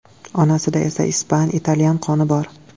Onasida esa ispan, italyan qoni bor.